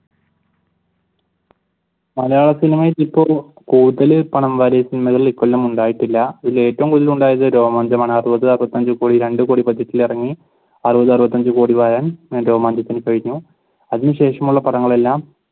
മലയാള സിനിമയ്ക്ക് ഇപ്പ ഒരു കൂടുതൽ പണം വാരിയ സിനിമകൾ ഈ കൊല്ലം ഉണ്ടായിട്ടില്ല. ഏറ്റവും കൂടുതൽ ഉണ്ടായത് രോമാഞ്ചമാണ് അറുപത് അറുപത്തിയഞ്ച് കോടി രണ്ടു കോടി ബഡ്ജറ്റിൽ ഇറങ്ങി അറുപത് അറുപത്തി അഞ്ചു കോടി വാരാൻ രോമാഞ്ചത്തിന് കഴിഞ്ഞു. അതിനുശേഷമുള്ള പടങ്ങൾ എല്ലാം